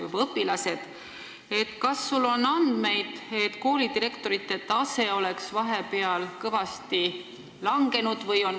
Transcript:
Kas sul on andmeid, et koolidirektorite tase on vahepeal kõvasti langenud?